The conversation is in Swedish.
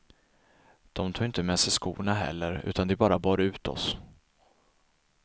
De tog inte med sig skorna heller utan de bar bara ut oss.